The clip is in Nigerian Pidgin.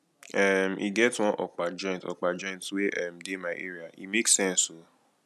um e get one okpa joint okpa joint wey um dey my area e make sense o